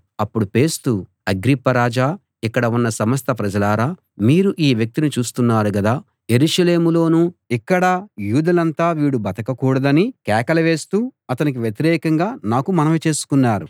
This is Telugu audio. అప్పుడు ఫేస్తు అగ్రిప్ప రాజా ఇక్కడ ఉన్న సమస్త ప్రజలారా మీరు ఈ వ్యక్తిని చూస్తున్నారు గదా యెరూషలేములోనూ ఇక్కడా యూదులంతా వీడు ఇక బతకకూడదని కేకలు వేస్తూ అతనికి వ్యతిరేకంగా నాకు మనవి చేసుకున్నారు